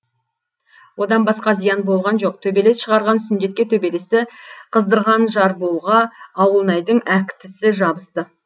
одан басқа зиян болған жоқ төбелес шығарған сүндетке төбелесті қыздырған жарболға ауылнайдың әктісі жабысты